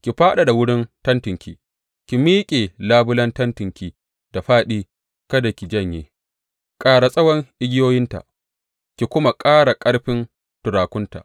Ki fadada wurin tentinki, ki miƙe labulen tentinki da fāɗi, kada ki janye; ƙara tsawon igiyoyinta, ki kuma ƙara ƙarfin turakunta.